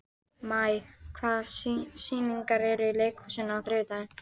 Maj, hvaða sýningar eru í leikhúsinu á þriðjudaginn?